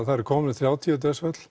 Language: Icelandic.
það eru komin þrjátíu dauðsföll